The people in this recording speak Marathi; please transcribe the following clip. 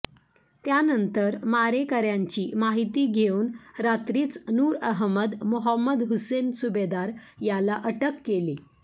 त्यानंतर मारेकऱ्यांची माहिती घेऊन रात्रीच नूर अहमद मोहम्मद हुसेन सुबेदार याला अटक केली